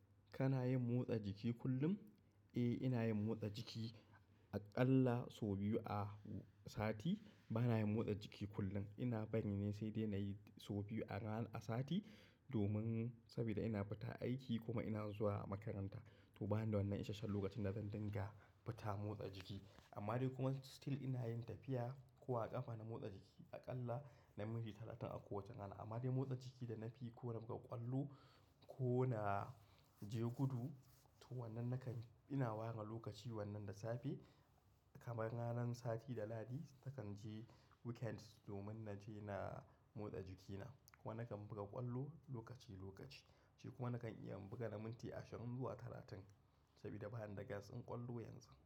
Kana yin motsa jiki kullum? Eh, ina yin motsa jiki a ƙalla sau biyu a sati. Bana yin motsa jiki kullum. Ina bari ne sai dai na yi sau biyu a rana, a sati domin saboda ina fita aiki kuma ina zuwa makaranta. To bana da wannan isasshen lokacin da zan dinga fita motsa jiki. Amma dai kuma still ina yin tafiya ko a ƙafa na motsa jiki a ƙalla na minti talatin a kowace rana. Amma dai motsa jiki da na fi ko na buga ƙwallo ko na jegudu, to wannan na kan-- ina ware lokaci wannan da safe kamar ranan sati da lahadi nakan je weekend domin na je na motsa jikina. Kuma na kan buga ƙwallo lokaci lokaci. Shi kuma na kan iya buga na minti ashirin zuwa talatin saboda bani da gas ɗin ƙwallo yanzu.